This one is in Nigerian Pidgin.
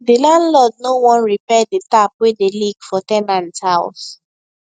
the landlord no wan repair the tap wey dey leak for ten ant house